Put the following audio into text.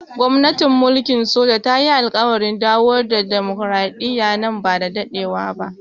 Gwamnatin mulkin soja ta yi alƙawarin dawo da dimokuradiyya nan ba da dadewa ba.